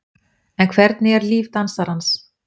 En hvernig er líf dansarans?